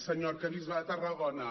senyor arquebisbe de tarragona